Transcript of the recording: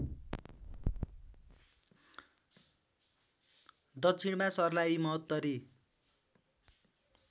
दक्षिणमा सर्लाही महोत्तरी